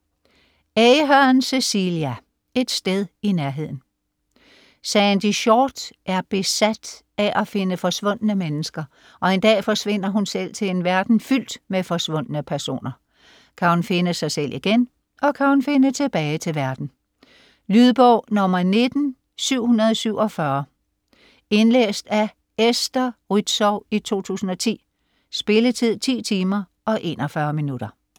Ahern, Cecelia: Et sted i nærheden Sandy Shortt er besat af at finde forsvundne mennesker, og en dag forsvinder hun selv til en verden fyldt med forsvundne personer. Kan hun finde sig selv igen, og kan hun finde tilbage til verden? Lydbog 19747 Indlæst af Esther Rützou, 2010. Spilletid: 10 timer, 41 minutter.